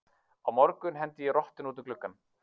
Á morgun hendi ég rottunni út um gluggann.